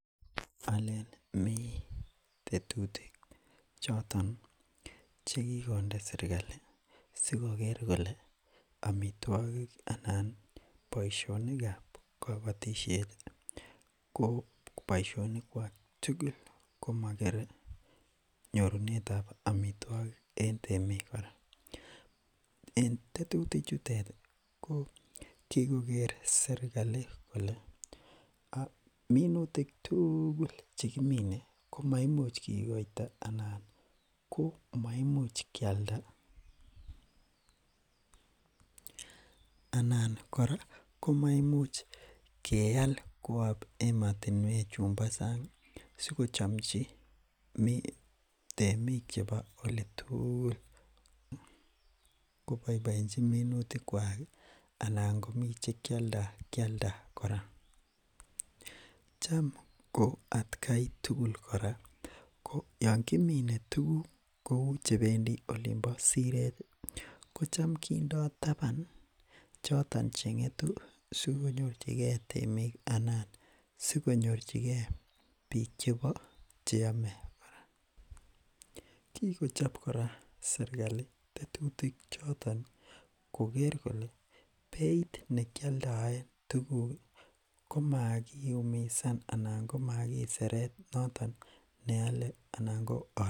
alen mi tetutik choton chekikonde srkali sikoker kole amitwogik anan boishonikab kabotisheti ko boishonikwak tugul komo kere nyorunetab amitwogik en temik kora en tetutichutet ko kikokere serkali kole minutik chekiminee komaimuch kikokoito anan komaimuch kialda anan kora komaimuch keal kwo emotinwek chumbo sang sikochomchi temik chebo olitugul koboiboenchi minutikwaki anan komi chekakialdakialda kora cham ko atkai tugul kora yoon kimine tuguk cheu chebendi olimpo sireti kocham kindo taban choton chengetu sikonyorchikee temik anan sikonyorchikee biik chebo cheome kikochop kora serkali tetutik choton koker kole beit nekioldoen tuguki komakiumisan anan komakiseret noton neole anan ko olin